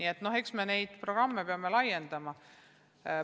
Eks me peame neid programme laiendama.